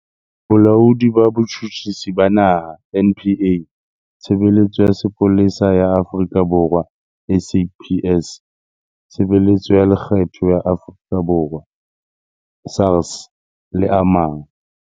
Bolaodi ba Botjhutjhisi ba Naha NPA, Tshebeletso ya Sepolesa ya Afrika Borwa SAPS, Tshebeletso ya Lekgetho ya Afrika Borwa SARS le a mang.